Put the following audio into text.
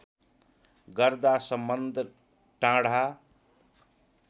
गर्दा सम्बन्ध टाढा